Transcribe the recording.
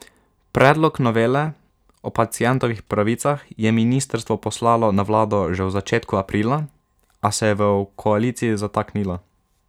Predlog novele o pacientovih pravicah je ministrstvo poslalo na vlado že v začetku aprila, a se je v koaliciji zataknilo.